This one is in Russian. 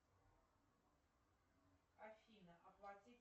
афина оплати